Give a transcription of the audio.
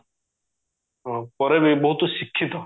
ଅ ପରେ ବି ବୋହୁତ ଶିକ୍ଷିତ